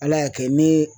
Ala y'a kɛ n be